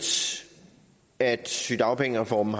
at sygedagpengereformen